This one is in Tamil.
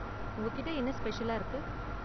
உங்ககிட்ட என்ன ஸ்பெஷலா இருக்கு?